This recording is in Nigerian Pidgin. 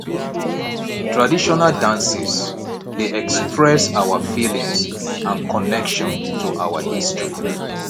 traditional dances dey express our feelings and connection to our history